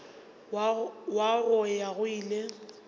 wa go ya go ile